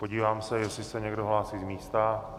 Podívám se, jestli se někdo hlásí z místa.